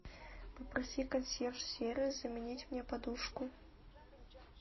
попроси консьерж сервис заменить мне подушку